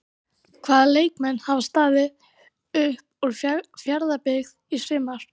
Hvaða leikmenn hafa staðið upp úr hjá Fjarðabyggð í sumar?